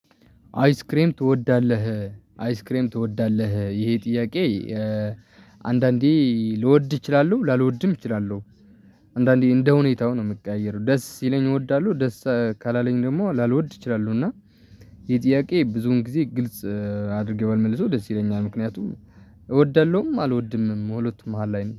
አይስክሬም ትወዳለህ አይስክሬም ትወዳለህ ይሄ ጥያቄ? አንዳንዴ ልወድ እችላለሁ ላልወድም እችላለሁ። አንዳንዴ እንደ ሁኔታው ነው የምቀያየረው ደስ ሲለኝ እወዳለሁ። ደስ ካላለኝ ደግሞ ላልወድ እችላለው። እና ይህጥያቄ ብዙን ጊዜ ግልጽ አድርገው ባልመልሰው ደስ ይለኛል ምክንያቱም እወዳለሁም አልወድምም በሁለቱ መሃል ላይ ነኝ